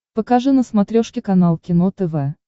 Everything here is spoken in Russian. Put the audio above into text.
покажи на смотрешке канал кино тв